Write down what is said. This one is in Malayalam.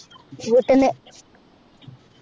വീട്ടിന്ന്